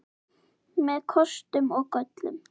Með kostum og göllum.